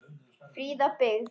Fríða byggð.